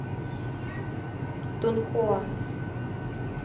тунхуа